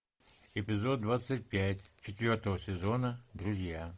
эпизод двадцать пять четвертого сезона друзья